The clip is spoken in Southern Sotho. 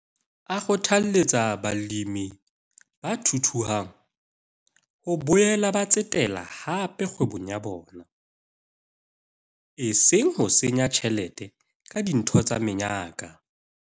A kgothaletsa balemi ba thuthuhang ho boela ba tsetela hape kgwebong ya bona, eseng ho senya tjhelete ka dintho tsa menyaka.